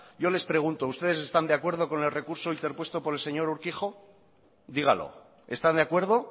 yo les pregunto ustedes están de acuerdo con el recurso interpuesto por el señor urquijo dígalo está de acuerdo